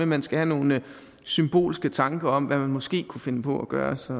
man skal have nogle symbolske tanker om hvad man måske kunne finde på at gøre så